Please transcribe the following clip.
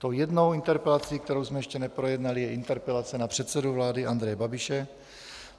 Tou jednou interpelací, kterou jsme ještě neprojednali, je interpelace na předsedu vlády Andreje Babiše.